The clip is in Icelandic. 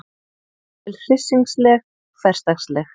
Jafnvel hryssingsleg, hversdagsleg.